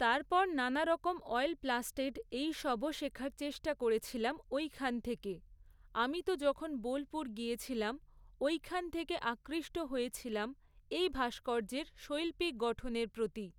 তারপর নানারকম অয়েল প্লাস্টেড এইসবও শেখার চেষ্টা করেছিলাম ওইখান থেকে। আমি তো যখন বোলপুর গিয়েছিলাম, ওইখান থেকে আকৃষ্ট হয়েছিলাম এই ভাস্কর্য্যের শৈল্পিক গঠনের প্রতি।